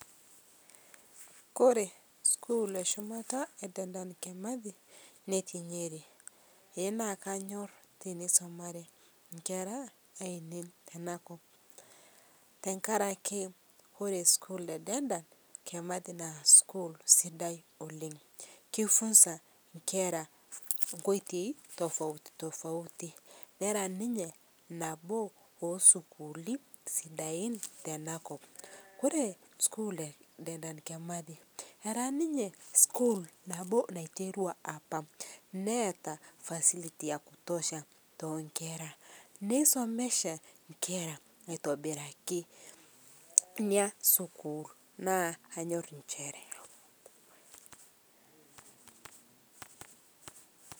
kore sukuul nashomoita e dedan kimathi netii nyeri, ee naa kanyor teneisumare nkera, aainei tenakop. tenkarki ore sukuul e dedan, kimathi naa sukuul sidai oleng.ki funza nkera nkoitoi tofaiuti tofauti. nera ninye nabo oosukuuli sidain tenakop. ore sukuul e dedan kimathi, era ninye sukul nabo naiterua, apa. neeta facilty ya kutosha too nkera. nei somesha nkera aitobirakineeku sukuul naa kanyor nchere.